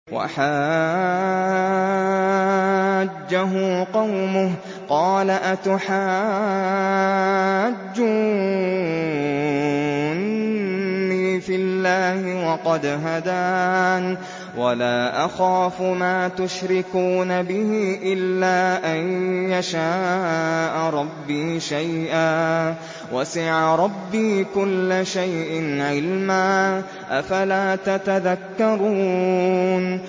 وَحَاجَّهُ قَوْمُهُ ۚ قَالَ أَتُحَاجُّونِّي فِي اللَّهِ وَقَدْ هَدَانِ ۚ وَلَا أَخَافُ مَا تُشْرِكُونَ بِهِ إِلَّا أَن يَشَاءَ رَبِّي شَيْئًا ۗ وَسِعَ رَبِّي كُلَّ شَيْءٍ عِلْمًا ۗ أَفَلَا تَتَذَكَّرُونَ